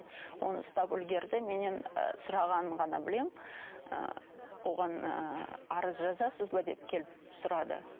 оны ұстап үлгерді менен сұрағанын ғана білемін ыыы оған ыыы арыз жазасыз ба деп келіп сұрады